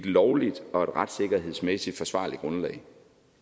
lovligt og et retssikkerhedsmæssigt forsvarligt grundlag